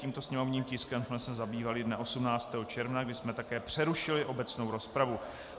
Tímto sněmovním tiskem jsme se zabývali dne 18. června, kdy jsme také přerušili obecnou rozpravu.